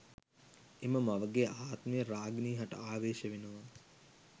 එම මවගේ ආත්මය රාගිනී හට ආවේශ වෙනවා